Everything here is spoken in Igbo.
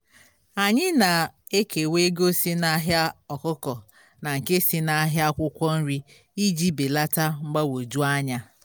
anyị na-ekewa ego si na ahịa ọkụkọ na nke si na ahịa akwụkwọ nri iji belata mgbagwoju anya.